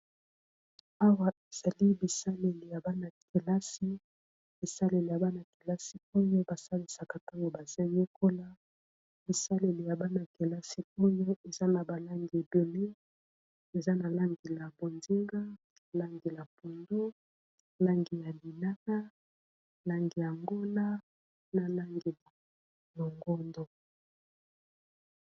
awa ezali bisaleli ya bana-kelasi bisaleli ya bana-kelasi oyo basalisaka ntango bazoyekola bisaleli ya bana-kelasi oyo eza na balangi ebione eza na langi la ponzenga langi la pondo langi ya binana langi ya ngona na langi ya longondo